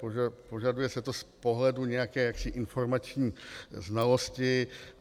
Požaduje se to z pohledu nějaké informační znalosti.